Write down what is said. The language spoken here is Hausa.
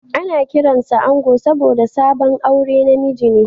Ana kiransa da Ango saboda sabon aure na miji ne